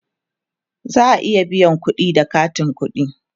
za'a iya biyan kudi da katin ƙuɗi